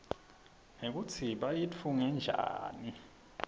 nekutsi bayitfunge njani